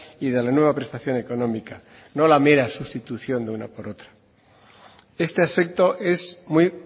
y de la nueva prestación económica no la mera sustitución de una por otra este aspecto es muy